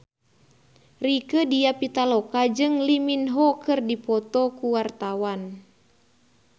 Rieke Diah Pitaloka jeung Lee Min Ho keur dipoto ku wartawan